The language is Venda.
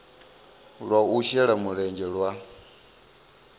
lwa u shela mulenzhe lwa